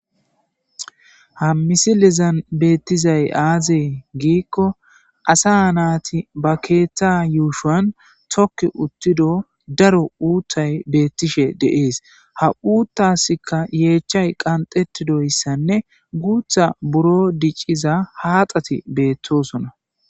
ha misilizan beettizay aazee giikko asa naati ba keeththa yuushan tokki uttido daro uutthay beettishe deees ha uuttaskka yeechchay qanxetidoyssanne guutha buro dicciza haaxati beettoosona